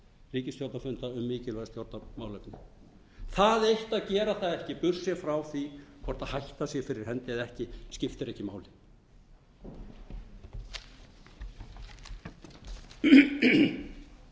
til ríkisstjórnarfunda um mikilvæg stjórnarmálefni það eitt að gera það ekki burtséð frá því hvort hætta sé fyrir hendi eða ekki skiptir ekki